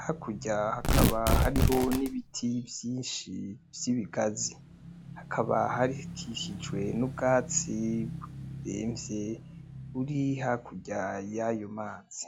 hakurya haka hariho n'ibiti vyinshi vy'ibigazi .Hakaba harihakikijwe n' ubwatsi buremvye buri hakurya yayo mazi.